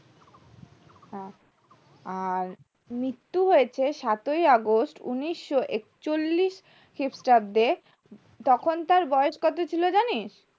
আর মৃত্যু হয়েছে সাতই august উন্নিশ এক চল্লিশ খ্রিস্টাব্দে তখন তার বয়স কত ছিল জানিস